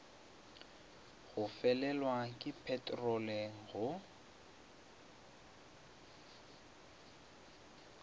go felelwa ke peterolo go